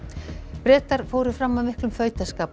Bretar fóru fram af miklum fautaskap og